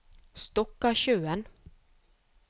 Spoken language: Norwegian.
Stokkasjøen